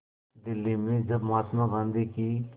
दिल्ली में जब महात्मा गांधी की